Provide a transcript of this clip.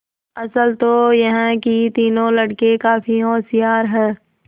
असल तो यह कि तीनों लड़के काफी होशियार हैं